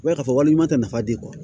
U b'a ye k'a fɔ walima jama tɛ nafa di